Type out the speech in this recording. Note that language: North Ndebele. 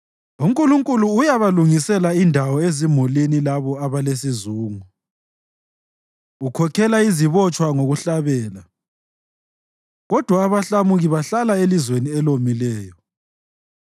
UNkulunkulu uyabalungisela indawo ezimulini labo abalesizungu, ukhokhela izibotshwa ngokuhlabela; kodwa abahlamuki bahlala elizweni elomileyo.